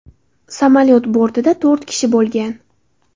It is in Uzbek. Samolyot bortida to‘rt kishi bo‘lgan.